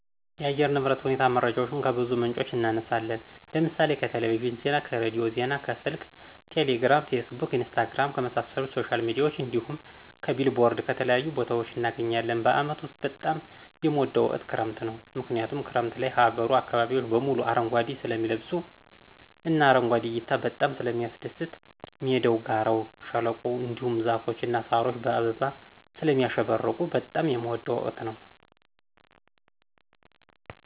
የአየር ንብረት ሁኔታ መረጃዎችን ከብዙ ምንጮች እናነሳለን ለምሳሌ :-ከቴሌቪዥን ዜና, ከሬዲዮ ዜና ,ከስልክ ቴሌግራም ,ፌስቡክ ,ኢንስታግራም, ከመሳሰሉት ሶሻል ሚዲያዎች እንዲሁም ,ከቢልቦርድ ከተለያዩ ቦታዎች እናገኛለን። በአመት ውስጥ በጣም የምወደው ወቅት ክረምት ነው ምክንያቱም ክረምት ላይ ሀገሩ አካባቢዎች በሙሉ አረንጓዴ ስለሚለብሱ እና አረንጓዴ እይታ በጣም ስለሚያስደስት ሜዳው, ጋራው, ሸለቆው, እንዲሁም ዛፎች እና ሳሮች በአበባ ስለሚያሸበርቁ በጣም የምወደው ወቅት ነው።